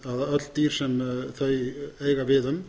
öll dýr sem þau eiga við um